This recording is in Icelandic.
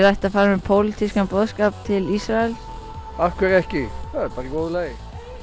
ætti að fara með pólitískan boðskap til Ísraels af hverju ekki það er bara í góðu lagi